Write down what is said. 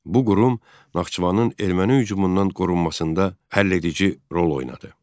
Bu qurum Naxçıvanın erməni hücumundan qorunmasında həlledici rol oynadı.